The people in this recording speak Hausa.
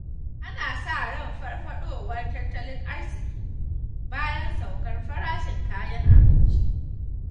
Ana sa ran farfaɗowar tattalin arziƙi, bayan saukar farashin kayan abinci.